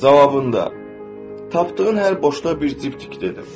Cavabında tapdığın hər boşda bir cib tik dedim.